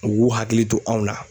U k'u hakili to anw na